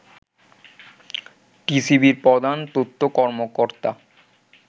টিসিবির প্রধান তথ্য কর্মকর্তা